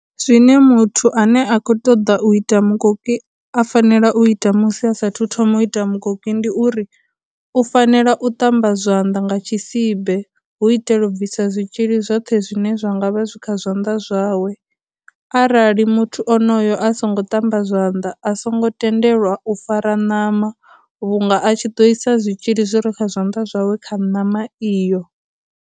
Zwine muthu ane a khou ṱoḓa u ita mukoki a fanela u ita musi a sa thu thoma u ita mukoki ndi uri, u fanela u ṱamba zwanḓa nga tshisibe hu itela u bvisa zwitzhili zwoṱhe zwine zwa zwa ngavha zwi kha zwanḓa zwawe, arali muthu a onoyo a songo ṱamba zwanḓa, a songo tendelwa u fara ṋama vhu nga a tshi ḓo isa zwitzhili zwi re kha zwanḓa zwawe kha ṋama iyo.